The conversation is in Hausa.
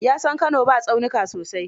Ya san Kano ba tsaunuka sosai.